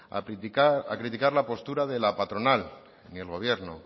a criticar la postura de la patronal ni el gobierno